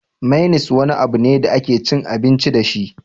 Mainis wani abu ne da ake cin abinci dashi